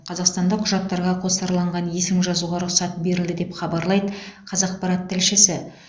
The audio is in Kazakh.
қазақстанда құжаттарға қосарланған есім жазуға рұқсат берілді деп хабарлайды қазақпарат тілшісі